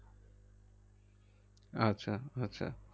আচ্ছা আচ্ছা